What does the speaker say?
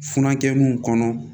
Funankɛninw kɔnɔ